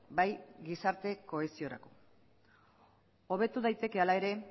bai gizarte kohesiorako hobetu daiteke hala ere